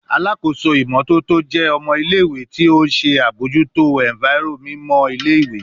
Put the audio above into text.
Alakoso imototo jẹ ọmọ ile-iwe ti o nṣe abojuto enviro mimọ ile-iwe